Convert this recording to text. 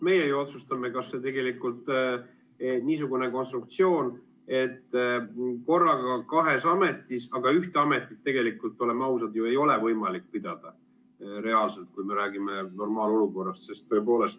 Meie otsustame, kas tegelikult niisugune konstruktsioon, et korraga kahes ametis, aga ühte neist tegelikult, oleme ausad, ju ei ole reaalselt võimalik pidada, kui me räägime normaalolukorrast.